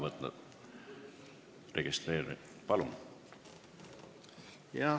Palun!